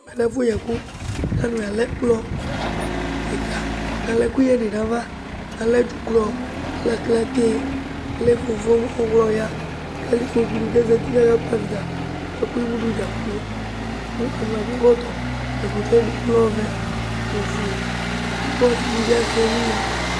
ɛkɛlɛ ɛƒʋ yi ɛkʋkʋ alʋalɛ ɛkplɔ kikaa kʋ alɛ ɛkʋyɛ dinʋ aɣa, alɛ dzʋklɔ alɛ aklatɛ alɛ ƒɔmƒɔm, kʋ alɛ ikpɔkʋ ni kʋ azati kʋaka kpɔ avita kʋ akɔ ɛmʋ dʋ dza kplɔ kʋ alʋ wa ɛdi akɔ ɛkɔtɔ, ɛkɔtɔɛ lɛ ɔvɛ nʋ ɔƒʋɛ kʋɔsii dibi asɛ ɛlʋ lɛ